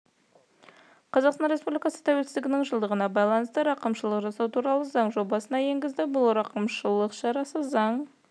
қазақстан республикасы тәуелсіздігінің жылдығына байланысты рақымшылық жасау туралы заң жобасын енгізді бұл рақымшылық шарасы заң